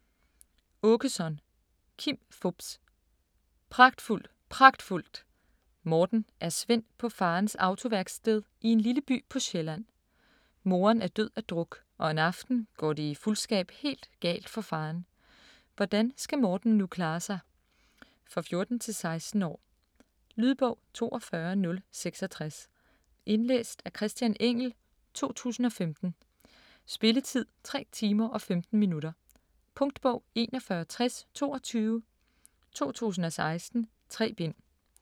Aakeson, Kim Fupz: Pragtfuldt, pragtfuldt! Morten er svend på farens autoværksted i en lille by på Sjælland. Moren er død af druk og en aften går det i fuldskab helt galt for faderen. Hvordan skal Morten nu klare sig? For 14-16 år. Lydbog 42066 Indlæst af Christian Engell, 2015. Spilletid: 3 timer, 15 minutter. Punktbog 416022 2016. 3 bind.